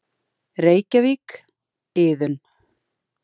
Reykjavík, Iðunn.